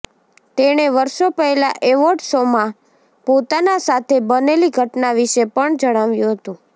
તેણે વર્ષો પહેલા એવોર્ડ શોમાં પોતાના સાથે બનેલી ઘટના વિશે પણ જણાવ્યું હતું